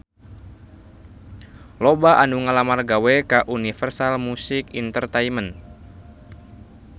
Loba anu ngalamar gawe ka Universal Music Entertainment